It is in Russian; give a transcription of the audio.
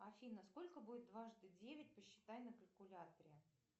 афина сколько будет дважды девять посчитай на калькуляторе